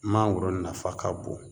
Mangoro nafa ka bon